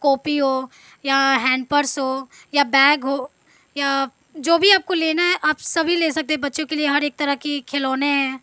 Copy हो या hand purse हो या बैग हो या जो भी आपको लेना है आप सभी ले सकते हैं बच्चों के लिए हर एक तरह की खिलौने हैं।